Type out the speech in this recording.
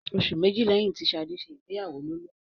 Oṣù méjì lẹ́yìn tí Ṣadé ṣe ìgbéyàwó ló lóyún.